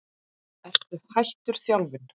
Ertu hættur þjálfun?